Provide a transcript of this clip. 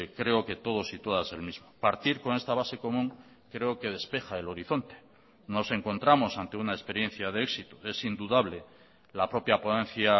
creo que todos y todas el mismo partir con esta base común creo que despeja el horizonte nos encontramos ante una experiencia de éxito es indudable la propia ponencia